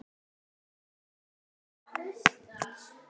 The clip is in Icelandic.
Nú, já.